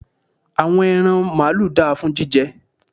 àwọn ẹran maalu da fún jíjẹ